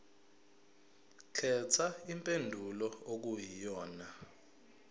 khetha impendulo okuyiyona